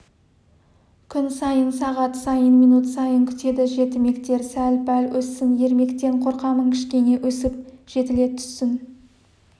күн сайын сағат сайын минут сайын күтеді жетімектер сәл-пәл өссін ермектен қорқамын кішкене өсіп жетіле түссін